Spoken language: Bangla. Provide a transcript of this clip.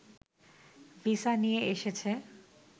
ভিসা নিয়ে এসেছে